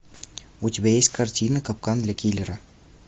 у тебя есть картина капкан для киллера